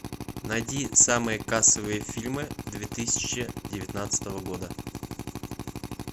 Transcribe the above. найди самые кассовые фильмы две тысячи девятнадцатого года